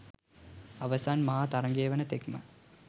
අවසන් මහා තරගය වන තෙක්ම